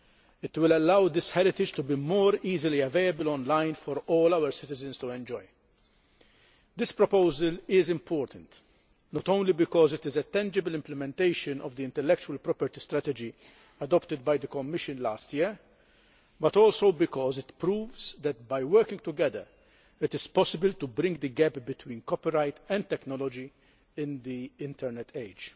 It will allow this heritage to be more easily available online for all our citizens to enjoy. This proposal is important not only because it is a tangible implementation of the intellectual property strategy adopted by the Commission last year, but also because it proves that by working together it is possible to bridge the gap between copyright and technology in the internet age.